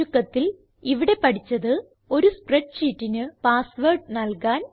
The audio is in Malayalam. ചുരുക്കത്തിൽ ഇവിടെ പഠിച്ചത് ഒരു സ്പ്രെഡ് ഷീറ്റിന് പാസ്വേർഡ് നല്കാൻ